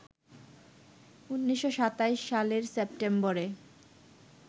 ১৯২৭ সালের সেপ্টেম্বরে